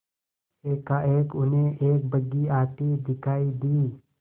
एकाएक उन्हें एक बग्घी आती दिखायी दी